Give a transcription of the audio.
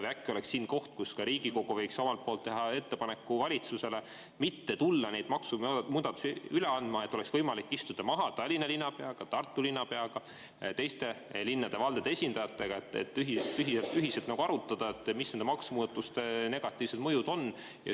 Või äkki oleks siin koht, kus Riigikogu võiks teha ettepaneku valitsusele mitte tulla neid maksumuudatusi üle andma, et oleks võimalik istuda maha Tallinna linnapeaga, Tartu linnapeaga ja linnade-valdade esindajatega, et ühiselt arutada, mis nende maksumuudatuste negatiivne mõju on?